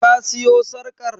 Ka siyo sarƙar?